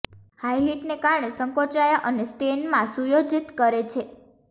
high હીટને કારણે સંકોચાયા અને સ્ટેન માં સુયોજિત કરે છે